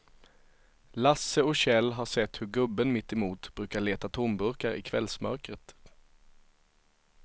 Lasse och Kjell har sett hur gubben mittemot brukar leta tomburkar i kvällsmörkret.